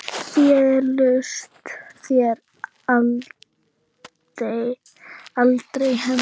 Féllust þér aldrei hendur?